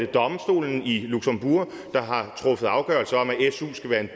domstolen i luxembourg der har truffet afgørelse om at su skal være en